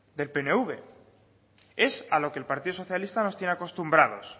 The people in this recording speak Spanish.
del pnv es a lo que el partido socialista nos tiene acostumbrados